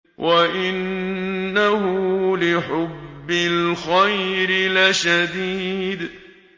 وَإِنَّهُ لِحُبِّ الْخَيْرِ لَشَدِيدٌ